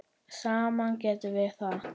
Saman getum við það.